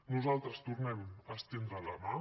nosaltres tornem a estendre la mà